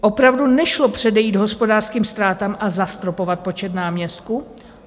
Opravdu nešlo předejít hospodářským ztrátám a zastropovat počet náměstků?